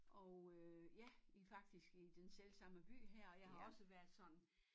Og øh ja i faktisk i den selvsamme by her og jeg har også været sådan